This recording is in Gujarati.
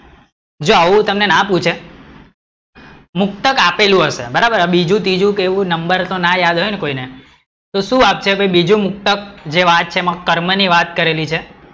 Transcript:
જો આવું તમને ના પૂછે મુક્તક આપેલું હશે, બરાબર જો બીજું ત્રીજું કે એવું નંબર તો ના યાદ હોય ને કોઈને, તો શું આપશે? બીજું મુક્તક જે વાત છે એમાં કર્મ ની વાત કરેલી છે